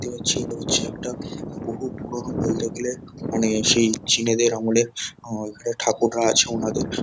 দেখতে পাচ্ছি এটা হচ্ছে একটা বহু পুরোনো বলতে গেলে মানে সেই চীনেদের আমলে আ ওখানে ঠাকুররা আছে ওনাদের।